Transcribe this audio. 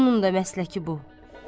Onun da məsləki bu.